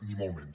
ni molt menys